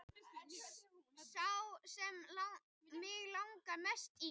Sá sem mig langar mest í